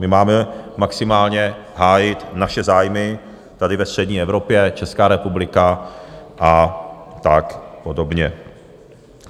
My máme maximálně hájit naše zájmy tady ve střední Evropě, Česká republika a tak podobně.